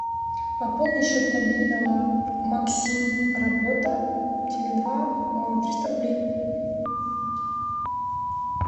пополни счет мобильного максим работа теле два триста рублей